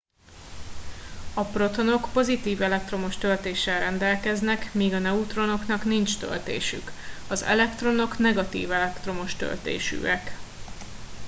a protonok pozitív elektromos töltéssel rendelkeznek míg a neutronoknak nincs töltésük az elektronok negatív elektromos töltésűek